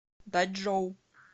дачжоу